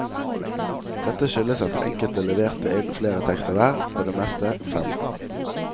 Dette skyldes at enkelte leverte inn flere tekster hver, på det meste fem.